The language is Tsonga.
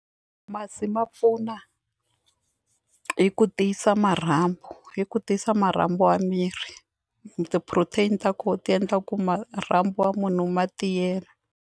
Masi ma pfuna hi ku tiyisa marhambu yi ku tiyisa marhambu ya miri ti-protein ta kona ti endla ku marhambu wa munhu ma tiyelela.